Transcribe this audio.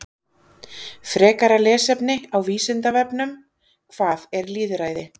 Frekara lesefni á Vísindavefnum: Hvað er lýðræði?